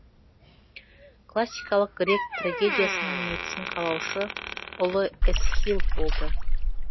классикалық грек трагедиясының негізін қалаушы ұлы эсхил болды